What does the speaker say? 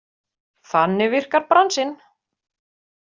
Þannig virkar bransinn.